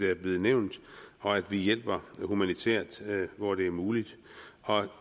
er blevet nævnt og at vi hjælper humanitært hvor det er muligt og